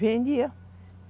Vendia.